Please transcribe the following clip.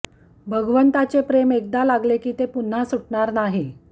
भगवंताचे प्रेम एकदा लागले की ते पुन्हा सुटणार नाही